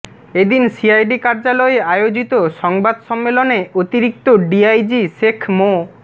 এদিন সিআইডি কার্যালয়ে আয়োজিত সংবাদ সম্মেলনে অতিরিক্ত ডিআইজি শেখ মো